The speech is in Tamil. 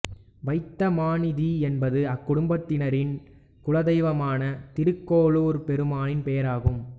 வைத்த மாநிதி என்பது அக்குடும்பத்தினரின் குலதெய்வமான திருக்கோளூர் பெருமானின் பெயராகும்